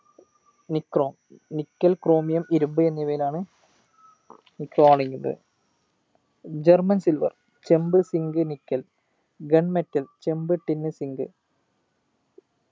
NichromeNickel chromium ഇരുമ്പ് എന്നിവയിലാണ് ഇത് കാണിക്കുന്നത് german silver ചെമ്പ് zinc nickel gun metal ചെമ്പ് tin zinc